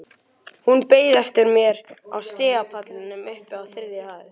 Hún beið eftir mér á stigapallinum uppi á þriðju hæð.